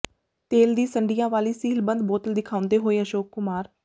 ਤੇਲ ਦੀ ਸੰਡੀਆਂ ਵਾਲੀ ਸੀਲ੍ਹਬੰਦ ਬੋਤਲ ਦਿਖਾਉਂਦੇ ਹੋਏ ਅਸ਼ੋਕ ਕੁਮਾਰ